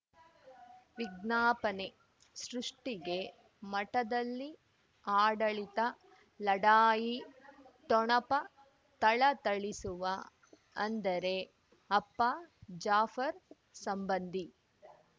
ವಿಜ್ಞಾಪನೆ ಸೃಷ್ಟಿಗೆ ಮಠದಲ್ಲಿ ಆಡಳಿತ ಲಢಾಯಿ ಠೊಣಪ ಥಳಥಳಿಸುವ ಅಂದರೆ ಅಪ್ಪ ಜಾಫರ್ ಸಂಬಂಧಿ